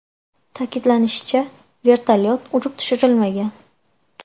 Ta’kidlanishicha, vertolyot urib tushirilmagan.